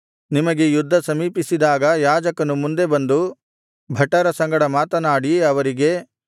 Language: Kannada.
ನಿಮಗೆ ಯುದ್ಧ ಸಮೀಪಿಸಿದಾಗ ಯಾಜಕನು ಮುಂದೆ ಬಂದು ಭಟರ ಸಂಗಡ ಮಾತನಾಡಿ ಅವರಿಗೆ